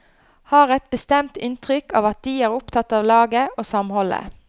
Har et bestemt inntrykk av at de er opptatt av laget og samholdet.